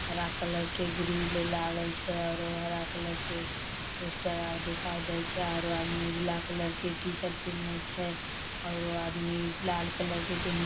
हरा कलर के ग्रील लागल छै आरो हरा कलर के पोस्टर आर दिखाई दे छै आरो आदमी उजला कलर के टी-शर्ट आर पहिनले छै औरो आदमी लाल कलर के पहिनने --